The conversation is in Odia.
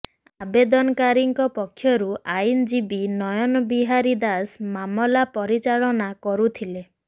ଆବେଦନକାରୀଙ୍କ ପକ୍ଷରୁ ଆଇନଜୀବୀ ନୟନ ବିହାରୀ ଦାସ ମାମଲା ପରିଚାଳନା କରୁଥିଲେ